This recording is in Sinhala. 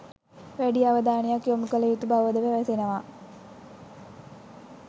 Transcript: වැඩි අවධානයක් යොමු කළ යුතු බවද පැවසෙනවා.